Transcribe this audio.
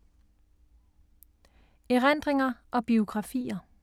Erindringer og biografier